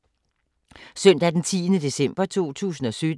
Søndag d. 10. december 2017